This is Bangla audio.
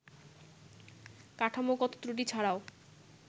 কাঠামোগত ত্রুটি ছাড়াও